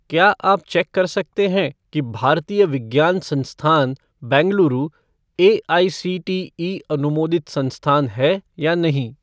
क्या आप चेक कर सकते हैं कि भारतीय विज्ञान संस्थान बेंगलुरु एआईसीटीई अनुमोदित संस्थान है या नहीं?